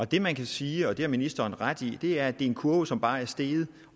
det man kan sige og det har ministeren ret i er at det er en kurve som bare er steget